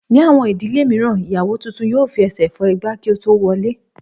Ní àwọn ìdílé mìíràn, ìyàwó tuntun yóò fi ẹsẹ̀ fọ́ igbá kí ó tó wọlé